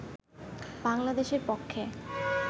বাংলাদেশের পক্ষে